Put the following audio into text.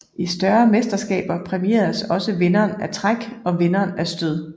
I større mesterskaber præmieres også vinderen af træk og vinderen af stød